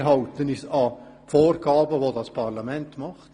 Wir halten uns an die Vorgaben dieses Parlaments.